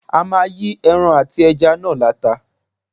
A máa yí ẹran àti ẹja náà láta.